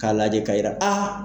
K'a lajɛ ka yira aaa.